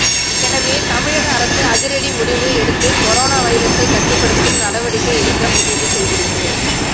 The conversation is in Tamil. எனவே தமிழக அரசு அதிரடி முடிவு எடுத்து கொரோனா வைரஸை கட்டுப்படுத்தும் நடவடிக்கை எடுக்க முடிவு செய்துள்ளது